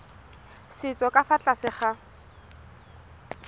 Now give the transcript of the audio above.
setso ka fa tlase ga